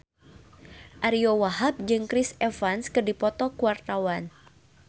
Ariyo Wahab jeung Chris Evans keur dipoto ku wartawan